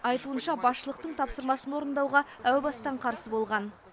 айтуынша басшылықтың тапсырмасын орындауға әу бастан қарсы болған